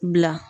Bila